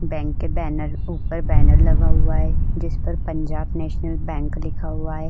Bank के banner ऊपर banner लगा हुआ है जिस पर पंजाब नेशनल बैंक लिखा हुआ है।